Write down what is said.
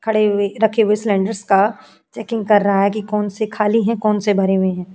खड़े हुए रखे हुए का सीलिन्डर्स का चेकिंग कर रहा है कि कौन से खाली हैं? कौन से भरे हुए हैं?